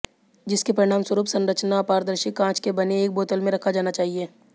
जिसके परिणामस्वरूप संरचना अपारदर्शी कांच के बने एक बोतल में रखा जाना चाहिए